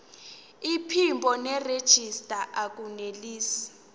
iphimbo nerejista akunelisi